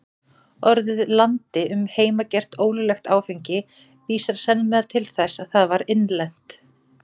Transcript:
Orðið landi um heimagert, ólöglegt áfengi, vísar sennilega til þess að það var innlent.